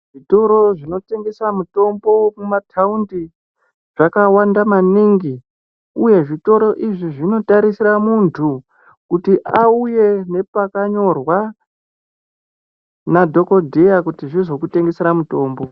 Zvitoro zvinotengesa mitombo mumataundi Zvakawanda maningi uye zvitoro izvi zvinotarisira muntu kuti auye nepakanyorwa madhokodheya kuti zvizokutengesera mutombo.